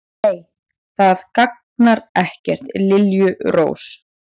Nei, það gagnar ekkert, liljurós.